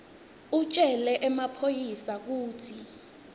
utjele emaphoyisa kutsi